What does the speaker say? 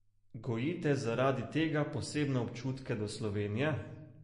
Gojite zaradi tega posebne občutke do Slovenije?